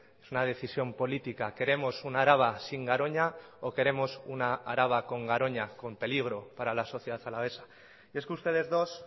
es una decisión política queremos una araba sin garoña o queremos una araba con garoña con peligro para la sociedad alavesa es que ustedes dos